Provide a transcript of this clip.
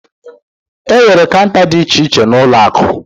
Enwere Kaunta dị iche iche na ụlọ akụ.